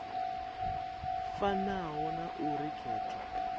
fanaho na a uri khetho